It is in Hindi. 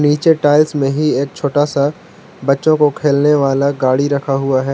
नीचे टाइल्स में ही एक छोटा सा बच्चों को खेलने वाला गाड़ी रखा हुआ है।